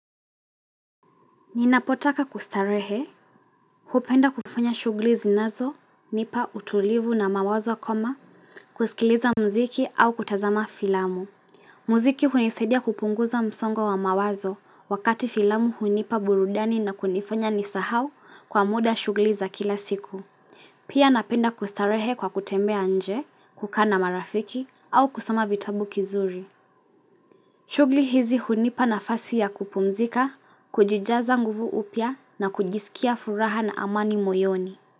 Ninapotaka kustarehe, hupenda kufanya shughuli zinazo, nipa utulivu na mawazo kama, kusikiliza mziki au kutazama filamu. Mziki hunisaidia kupunguza msongo wa mawazo wakati filamu hunipa burudani na kunifanya nisahau kwa muda shughuli za kila siku. Pia napenda kustarehe kwa kutembea nje, kukaa na marafiki au kusoma vitabu kizuri. Chughuli hizi hunipa nafasi ya kupumzika, kujijaza nguvu upya na kujisikia furaha na amani moyoni.